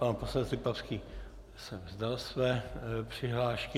Pan poslanec Lipavský se vzdal své přihlášky.